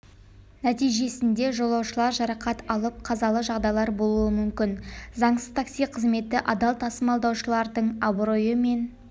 нәтижесінде жолаушылар жарақат алып қазалы жағдайлар болуы мүмкін заңсыз такси қызметі адал тасымалдаушылардың абыройы мен